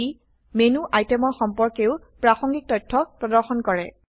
ই menu আইটেমৰ সম্পৰ্কেও প্ৰাসঙ্গিক তথ্য প্ৰদৰ্শন কৰে